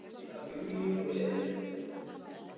Af Júlíu og Lenu.